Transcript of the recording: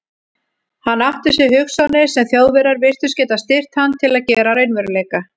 Hann átti sér hugsjónir, sem Þjóðverjar virtust geta styrkt hann til að gera að raunveruleika.